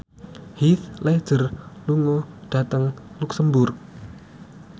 Heath Ledger lunga dhateng luxemburg